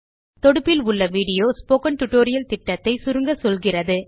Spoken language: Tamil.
தொடுப்பில் உள்ள விடியோ ஸ்போக்கன் டியூட்டோரியல் திட்டத்தை சுருங்கச்சொல்கிறது